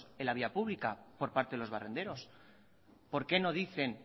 en la vía pública por parte de los barrenderos por qué no dicen